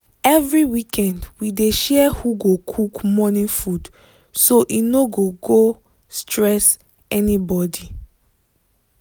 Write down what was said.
every weekend we dey share who go cook morning food so e no go go stress anybody.